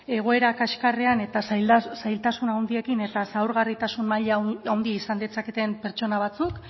egoera kaxkarrean eta zailtasun handiekin eta zaurgarritasun maila handia izan ditzaketen pertsona batzuk